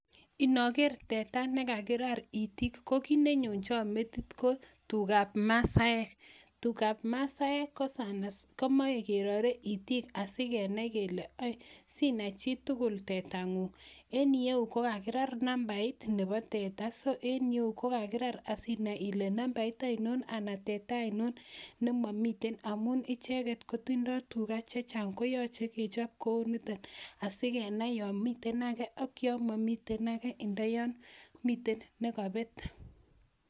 Inoker teta nekakirar itik kokit nenyonchon metit ko tukab masaek, tukab masaek komoe kerore itik asikenai kele sinai chitugul tetangung en iyeu kokakirar numbait nepo teta so en ireyu kokakirar asinai ile numbait ainon ana teta ainon nemomiten amun icheket kotindoo tuka chechang koyoche kechop kounito asikenai yomiten ake yomomiten ake ndo yomiten nekopet.